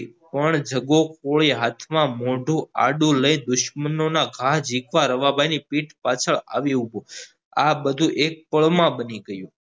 પણ જગો કોળી હાથમાં મોઢું આડું લઈને દુસ્મનો ના ઘા ઝીકવા રવા ભાઈ ની પીઠ પાસાળ આવી ઉભો આ બધું એક પળ મા બની ગયું